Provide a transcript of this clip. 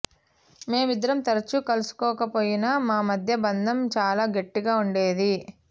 మేమిద్దరం తరచుగా కలుసుకోకపోయినా మా మధ్య బంధం చాలా గట్టిగా ఉండేది